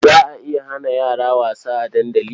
Za a iya hana yara wasa a dandali.